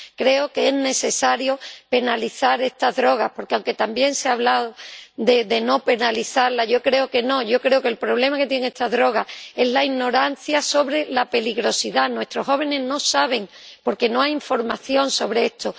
Creo que es necesario penalizar estas drogas porque, aunque también se ha hablado de no penalizarlas, yo creo que no, yo creo que el problema que tienen estas drogas es la ignorancia sobre su peligrosidad —nuestros jóvenes no saben, porque no hay información sobre esto—